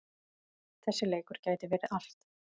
Þessi leikur gæti verið allt.